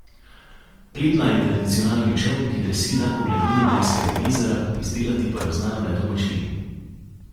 Pletna je tradicionalni čoln, ki drsi le po gladini Blejskega jezera, izdelati pa jo znajo le domačini.